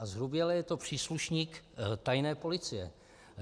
A zhruběle je to příslušník tajné policie.